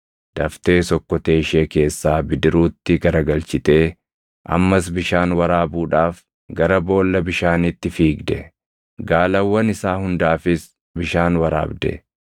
Daftees okkotee ishee keessaa bidiruutti garagalchitee ammas bishaan waraabuudhaaf gara boolla bishaaniitti fiigde; gaalawwan isaa hundaafis bishaan waraabde.